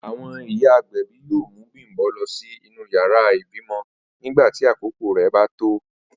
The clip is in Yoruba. Àwo̩n ìyá agbè̩bí yóò mú Bím̀bó̩ lo̩ sí inú yàrá ìbímo̩ nígbà tí àkókò rè̩ bá tó